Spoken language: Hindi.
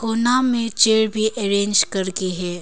में चेयर भी अरेंज करके है।